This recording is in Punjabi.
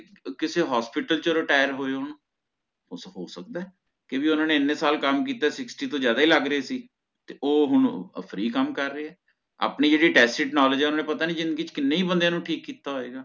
ਕਿਸੇ hospital ਚ retire ਹੋਏ ਹੋਣ ਹੋ ਸਕਦਾ ਕ੍ਯੁਕੀ ਓਹਨਾ ਨੇ ਇਨੇ ਸਾਲ ਕਾਮ ਕਿੱਤਾ sixty ਟੋਹ ਜਾਦਾ ਹੀ ਲਗ ਰਹੇ ਸੀ ਓਹ ਹੁਣ free ਕਾਮ ਕਰ ਰਹੇ ਹੈ ਆਪਣੀ ਜੇਹੜੀ tacit knowledge ਹੈ ਓਹਨਾ ਨੇ ਪਤਾ ਨੀ ਜਿੰਦਗੀ ਚ ਕਿੰਨੇ ਬੰਦਿਆਂ ਨੂੰ ਹੀ ਠੀਕ ਕੀਤਾ ਹੋਏਗਾ